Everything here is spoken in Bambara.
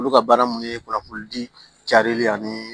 Olu ka baara kun ye kunnafoni di jari ani